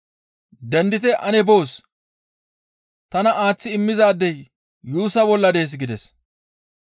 Dendite ane boos! Tana aaththi immizaadey yuussa bolla dees» gides.